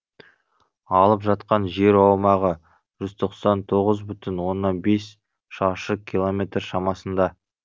алып жатқан жер аумағы жүз тоқсан тоғыз бүтін оннан бес шаршы километр шамасында